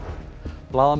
blaðamenn